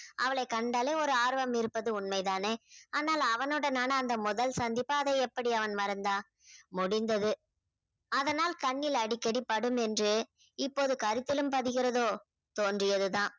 அவளை கண்டாலே ஒரு ஆர்வம் இருப்பது உண்மைதானே ஆனால் அவனுடனான அந்த முதல் சந்திப்பு அதை எப்படி அவள் மறந்தாள் முடிந்தது. அதனால் கண்ணில் அடிக்கடி படும் என்று இப்போது கருத்திலும் பதிகிறதோ தோன்றியது தான்